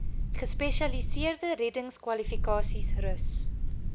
gespesialiseerde reddingskwalifikasies rus